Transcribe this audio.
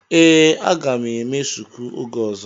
Ee, a ga m eme shuku oge ọzọ.